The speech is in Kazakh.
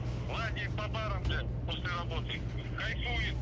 лазает по барам после работы кайфует